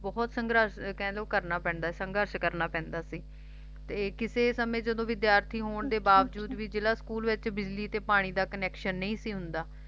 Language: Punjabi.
ਬਹੁਤ ਸੰਘਰਸ਼ ਕਹਿ ਲੋ ਕਰਨਾ ਪੈਂਦਾ ਸੀ ਸੰਘਰਸ਼ ਕਰਨਾ ਪੈਂਦਾ ਸੀ ਕਿਸੇ ਸਮੇਂ ਜਦੋਂ ਵਿਦਿਆਰਥੀ ਹੋਣ ਅੱਛਾ ਅੱਛਾ ਦੇ ਬਾਵਜੂਦ ਵੀ ਜਿਲ੍ਹਾ ਸਕੂਲ ਵਿਚ ਬਿਜਲੀ ਤੇ ਪਾਣੀ ਦਾ connection ਨਹੀਂ ਸੀ ਹੁੰਦਾ